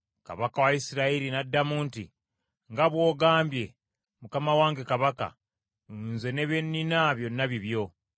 Kabaka wa Isirayiri n’addamu nti, “Nga bw’ogambye, mukama wange kabaka, nze ne bye nnina byonna bibyo.”